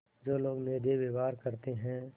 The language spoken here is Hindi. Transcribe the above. जो लोग निर्दयी व्यवहार करते हैं